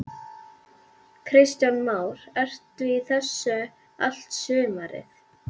Kristján Már: Ertu í þessu allt sumarið?